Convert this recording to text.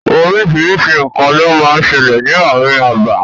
Oríṣiríṣi nǹkan ló máa ń sẹlẹ̀ ní ààrin abà.